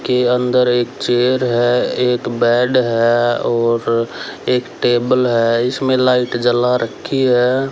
के अंदर एक चेयर है एक बेड है और एक टेबल है इसमें लाइट जला रखी है।